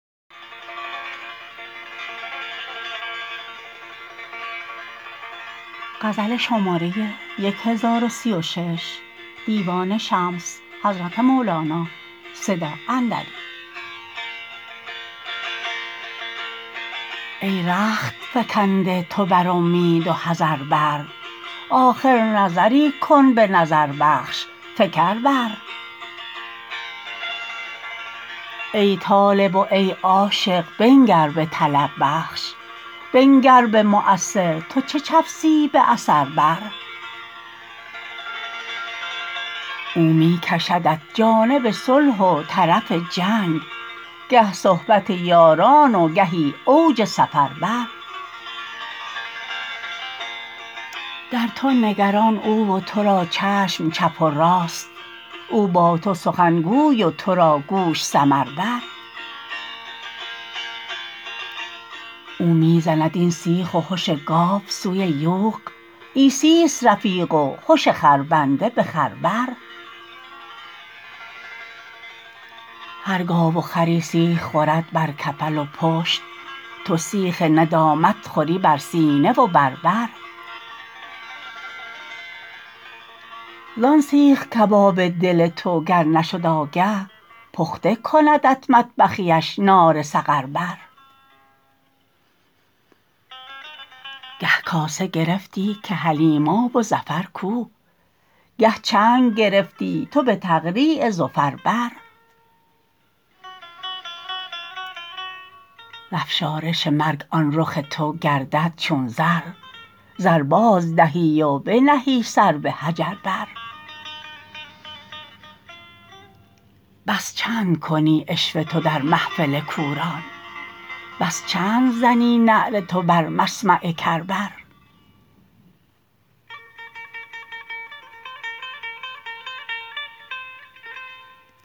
ای رخت فکنده تو بر اومید و حذر بر آخر نظری کن به نظربخش فکر بر ای طالب و ای عاشق بنگر به طلب بخش بنگر به مؤثر تو چه چفسی به اثر بر او می کشدت جانب صلح و طرف جنگ گه صحبت یاران و گهی اوج سفر بر در تو نگران او و تو را چشم چپ و راست او با تو سخن گوی و تو را گوش سمر بر او می زند این سیخ و هش گاو سوی یوغ عیسیست رفیق و هش خربنده به خر بر هر گاو و خری سیخ خورد بر کفل و پشت تو سیخ ندامت خوری بر سینه و بر بر زان سیخ کباب دل تو گر نشد آگه پخته کندت مطبخیش نار سقر بر گه کاسه گرفتی که حلیماب و زفر کو گه چنگ گرفتی تو به تقریع زفر بر ز افشارش مرگ آن رخ تو گردد چون زر زر بازدهی و بنهی سر به حجر بر بس چند کنی عشوه تو در محفل کوران بس چند زنی نعره تو بر مسمع کر بر